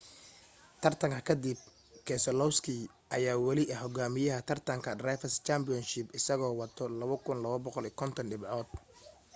tartanka ka dib keselowski ayaa wali ah hogaamiyaha taratanka drivers' championship isagoo wato 2,250 dhibcood